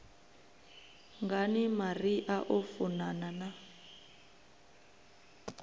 ngani maria o funana na